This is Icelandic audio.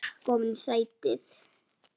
Sekk ofan í sætið.